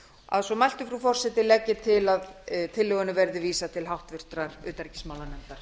að svo mæltu legg ég til frú forseti að tillögunni verði vísað til háttvirtrar utanríkismálanefndar